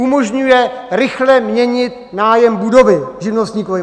Umožňuje rychle měnit nájem budovy živnostníkovi.